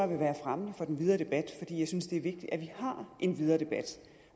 være fremmende for den videre debat jeg synes det er vigtigt at vi har en videre debat